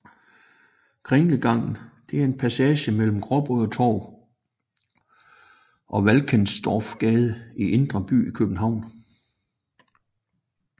Kringlegangen er en passage mellem Gråbrødretorv og Valkendorfsgade i Indre By i København